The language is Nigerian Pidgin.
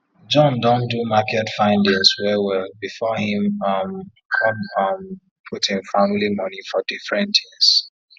john don do market findings well well before him um come um put him family money for different things